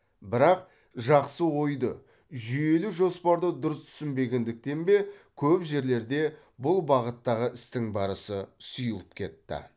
бірақ жақсы ойды жүйелі жоспарды дұрыс түсінбегендіктен бе көп жерлерде бұл бағыттағы істің барысы сұйылып кетті